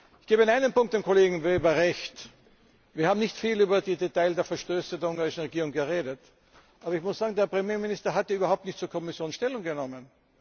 Ich gebe in einem Punkt dem Kollegen Weber Recht Wir haben nicht viel über die Details der Verstöße der ungarischen Regierung geredet. Aber ich muss sagen, der Premierminister hat ja überhaupt nicht zur Kommission Stellung genommen.